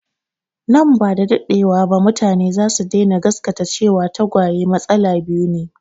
Nan ba da daɗewa ba mutane za su daina gasgata cewa tagwaye matsala biyu ne